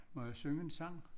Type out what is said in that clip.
Må jeg synge en sang?